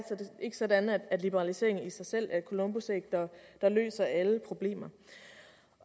sådan at liberalisering i sig selv er et columbusæg der løser alle problemer